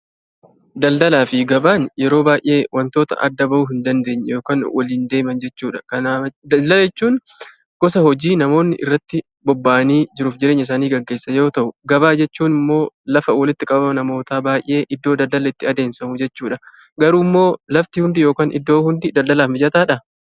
Daldalaa fi gabaan wantoota yeroo baay'ee adda bahuu hin dandeenye yookiin waliin deeman jechuudha. Kanaaf, daldala jechuun gosa hojii namoonni irratti bobba'anii jiruu fi jireenya isaanii gaggeessan yoo ta'u, gabaa jechuun immoo lafa walitti qabama namoota baay'ee iddoo daldalli itti adeemsifamu jechuudha. Garuu, iddoo yookiin lafti hundi daldalaaf mijataadhaa?